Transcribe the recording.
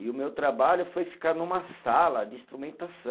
E o meu trabalho foi ficar numa sala de instrumentação